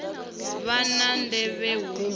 vha na ndeme hu u